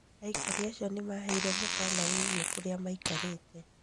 Aikari acio nĩ maaheirũo mũkaana wĩgiĩ kũrĩa maikarĩte